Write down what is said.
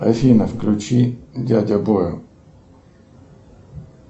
афина включи дядя бойл